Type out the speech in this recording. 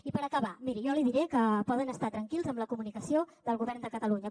i per acabar miri jo li diré que poden estar tranquils amb la comunicació del govern de catalunya